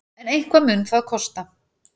En eitthvað mun það kosta.